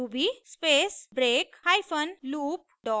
ruby space break hyphen loop dot rb